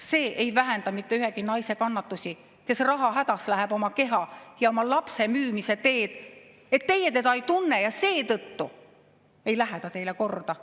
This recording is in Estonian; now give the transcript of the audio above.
See ei vähenda mitte ühegi naise kannatusi, kes rahahädas läheb oma keha ja oma lapse müümise teed, et teie teda ei tunne ja seetõttu ei lähe ta teile korda.